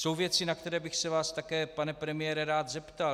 Jsou věci, na které bych se vás také, pane premiére, rád zeptal.